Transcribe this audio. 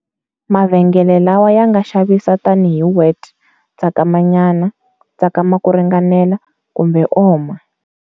Mavhengele lawa yanga xavisa tani hi"wet" tsakamanyana,"tsakama ku ringanela", kumbe"oma".